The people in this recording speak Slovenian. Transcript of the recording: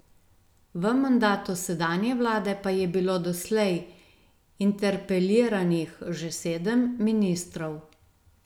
V mandatu sedanje vlade pa je bilo doslej interpeliranih že sedem ministrov.